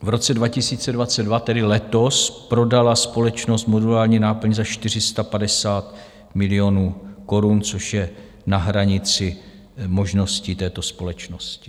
V roce 2022, tedy letos, prodala společnost modulární náplň za 450 milionů korun, což je na hranici možností této společnosti.